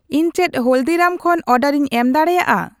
ᱤᱧ ᱪᱮᱫ ᱦᱚᱞᱫᱤᱨᱟᱢ ᱠᱷᱚᱱ ᱚᱰᱟᱨᱤᱧ ᱮᱢ ᱫᱟᱲᱮᱭᱟᱜᱼᱟ